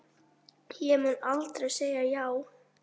Ég mun aldrei segja já.